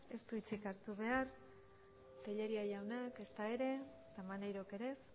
ez du hitzik hartu behar tellería jaunak ezta ere maneirok ere ez